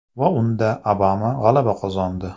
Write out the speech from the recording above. Va unda Obama g‘alaba qozondi!